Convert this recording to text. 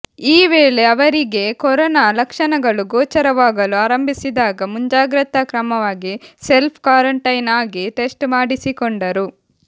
ಈ ವೇಳೆ ಅವರಿಗೆ ಕೊರೋನಾ ಲಕ್ಷಣಗಳು ಗೋಚರವಾಗಲು ಆರಂಭಿಸಿದಾಗ ಮುಂಜಾಗ್ರತಾ ಕ್ರಮವಾಗಿ ಸೆಲ್ಫ್ ಕ್ವಾರಂಟೈನ್ ಆಗಿ ಟೆಸ್ಟ್ ಮಾಡಿಸಿಕೊಂಡರು